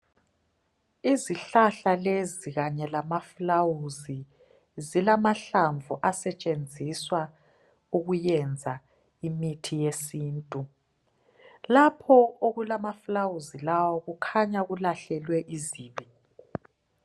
Izihlahla lezi kanye lamafulawuzi zilamahlamvu asetshenziswa ukuyenza imithi yesintu. Lapho okulamafulawuzi lawa kukhanya kulahlelwe izibi.